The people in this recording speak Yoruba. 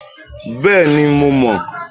Bẹ́ẹ̀ni, mo mọ̀